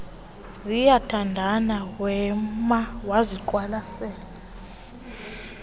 ziyathandana wema waziqwalasela